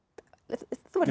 þú